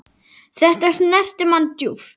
Þetta snerti mann djúpt.